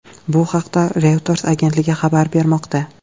Bu haqda Reuters agentligi xabar bermoqda .